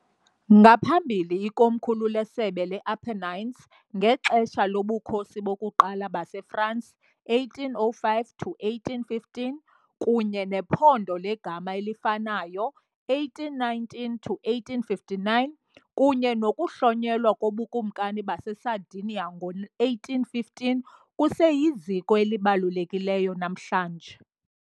Ngaphambili ikomkhulu leSebe le-Apennines ngexesha loBukhosi bokuQala baseFransi, 1805-1815, kunye nephondo legama elifanayo, 1819-1859, kunye nokuhlonyelwa koBukumkani baseSardinia ngo-1815, kuseyiziko elibalulekileyo namhlanje.